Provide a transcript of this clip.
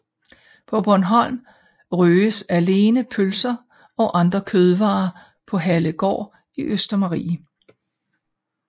På Bornholm røges alene pølser og andre kødvarer på Hallegård i Østermarie